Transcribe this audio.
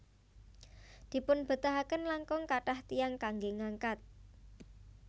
Dipunbetahaken langkung kathah tiyang kanggé ngangkat